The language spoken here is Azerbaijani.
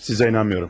Sizə inanmıram.